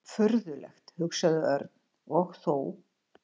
Furðulegt hugsaði Örn og þó.